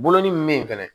Bolonin min be yen fɛnɛ